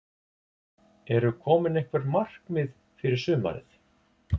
Eru komin einhver markmið fyrir sumarið?